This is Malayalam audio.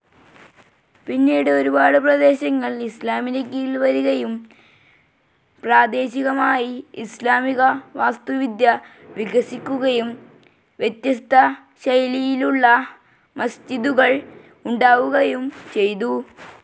പിന്നീട് ഒരുപാട് പ്രദേശങ്ങൾ ഇസ്ലാമിൻ്റെ കീഴിൽ വരികയും പ്രാദേശികമായ ഇസ്ലാമിക വാസ്തുവിദ്യ വികസിക്കുകയും വ്യത്യസ്ത ശൈലിയിലുളള മസ്ജിദുകൾ ഉണ്ടാവുകയും ചെയ്തു.